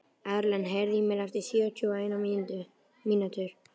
Erlen, heyrðu í mér eftir sjötíu og eina mínútur.